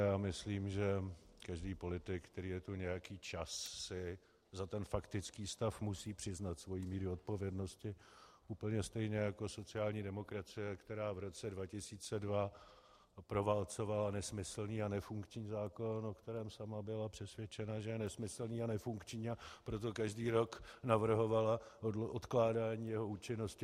Já myslím, že každý politik, který je tu nějaký čas, si za ten faktický stav musí přiznat svoji míru odpovědnosti úplně stejně jako sociální demokracie, která v roce 2002 proválcovala nesmyslný a nefunkční zákon, o kterém sama byla přesvědčena, že je nesmyslný a nefunkční, a proto každý rok navrhovala odkládání jeho účinnosti.